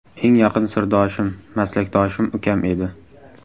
Eng yaqin sirdoshim, maslakdoshim ukam edi.